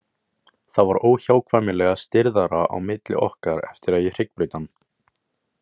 Það var óhjákvæmilega stirðara á milli okkar eftir að ég hryggbraut hann.